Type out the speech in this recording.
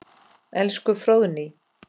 Elsku Fróðný.